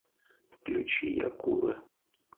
включи якуро